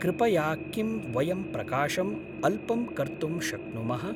कृपया किं वयं प्रकाशम् अल्पं कर्तुं शक्नुमः?